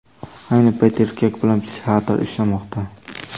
Ayni paytda erkak bilan psixiatr ishlamoqda.